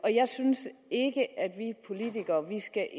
jeg synes ikke at vi politikere skal